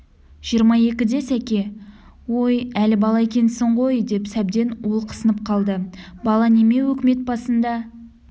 жиырма екіде сәке ой әлі бала екенсің ғой деп сәбден олқысынып қалды бала неме өкімет басында